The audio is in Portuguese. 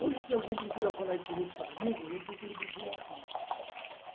Hoje, se alguém procura falar em política comigo, eu procuro desviar o assunto.